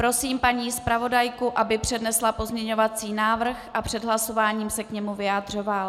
Prosím paní zpravodajku, aby přednesla pozměňovací návrh a před hlasováním se k němu vyjádřila.